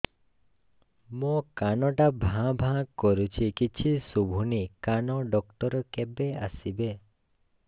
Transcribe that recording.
ମୋ କାନ ଟା ଭାଁ ଭାଁ କରୁଛି କିଛି ଶୁଭୁନି କାନ ଡକ୍ଟର କେବେ ଆସିବେ